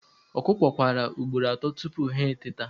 Ọkụkọ kwara ugboro atọ tupu ha eteta